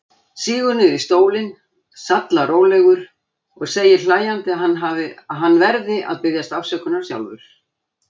Sígur niður í stólinn, sallarólegur, og segir hlæjandi að hann verði að biðjast afsökunar sjálfur.